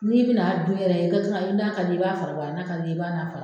N'i bɛ na dun yɛrɛ, n'i a ka diye i b'a fara b'ɔ ala, na ka diye i b'a na